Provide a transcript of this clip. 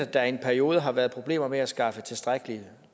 der i en periode har været problemer med at skaffe tilstrækkelig